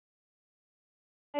En þegar hún sagði að